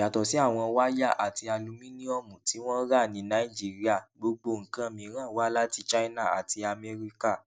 yàtọ sí àwọn wáyà àti alumíníọmù tí wọn rà ní nàìjíríà gbogbo nǹkan mìíràn wá láti china àti amẹríkà